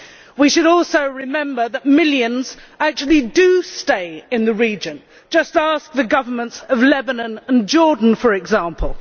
We should also remember that millions actually do stay in the region just ask the governments of Lebanon and Jordan, for example.